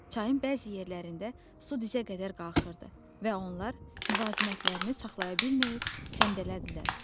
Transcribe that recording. Çayın bəzi yerlərində su dizə qədər qalxırdı və onlar müvazinətlərini saxlaya bilməyib səndələdilər.